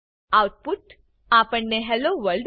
out put આપણને hello world